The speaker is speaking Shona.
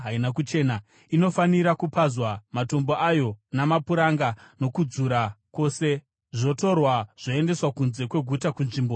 Inofanira kupazwa, matombo ayo, mapuranga nokudzura kwose, zvotorwa zvoendeswa kunze kweguta kunzvimbo isina kuchena.